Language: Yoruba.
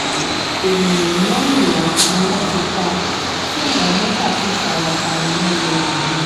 èèyàn mẹ́rìnlá ni wọ́n ti pa tí àwọn mẹ́fà sì fara pa yànnà yànna